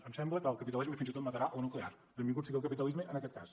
em sembla que el capitalisme fins i tot matarà la nuclear benvingut sigui el capitalisme en aquest cas